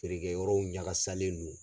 Feere kɛyɔrɔw ɲagasalen do.